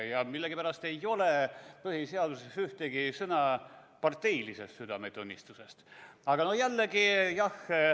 Ja millegipärast ei ole põhiseaduses ühtegi sõna parteilisest südametunnistusest.